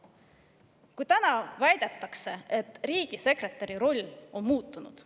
Nüüd väidetakse, et riigisekretäri roll on muutunud.